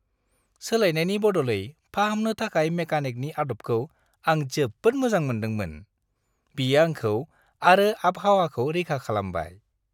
सोलायनायनि बदलै फाहामनो थाखाय मेकानिकनि आदबखौ आं जोबोद मोजां मोनदोंमोन। बियो आंखौ आरो आबहावाखौ रैखा खालामबाय।